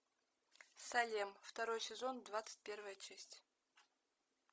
салем второй сезон двадцать первая часть